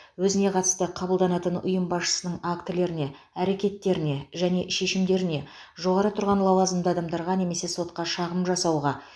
өзіне қатысты қабылданатын ұйым басшысының актілеріне әрекеттеріне және шешімдеріне жоғары тұрған лауазымды адамдарға немесе сотқа шағым жасауға